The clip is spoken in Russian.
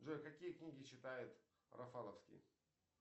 джой какие книги читает рафаловски